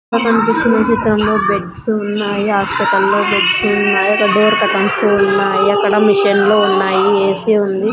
ఇక్కడ కనిపిస్తున్న చిత్రంలో బెడ్స్ ఉన్నాయి హాస్పిటల్ లో బెడ్స్ ఉన్నాయి ఒక డోర్ కర్టన్స్ ఉన్నాయి అక్కడ మెషిన్ లు ఉన్నాయి ఏ_సి ఉంది.